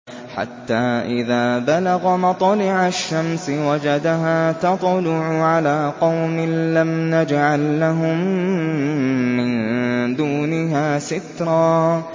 حَتَّىٰ إِذَا بَلَغَ مَطْلِعَ الشَّمْسِ وَجَدَهَا تَطْلُعُ عَلَىٰ قَوْمٍ لَّمْ نَجْعَل لَّهُم مِّن دُونِهَا سِتْرًا